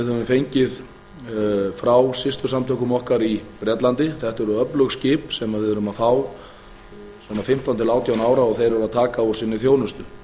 við höfum fengið frá systursamtökum okkar í bretlandi þetta eru öflug skip sem við erum að fá svona fimmtán til átján ára og þeir eru að taka úr sinni þjónustu